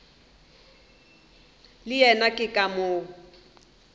le yena ke ka moo